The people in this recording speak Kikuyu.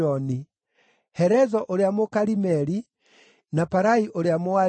Herezo ũrĩa Mũkarimeli, na Parai ũrĩa Mũaribi,